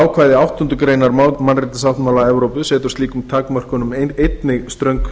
ákvæði áttundu grein mannréttindasáttmála evrópu setur slíkum takmörkunum einnig ströng